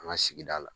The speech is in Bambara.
An ka sigida la